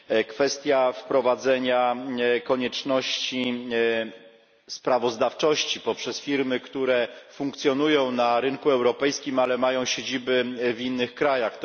Kwestia wprowadzenia konieczności sprawozdawczości poprzez firmy, które funkcjonują na rynku europejskim, ale mają siedziby w innych krajach.